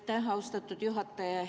Aitäh, austatud juhataja!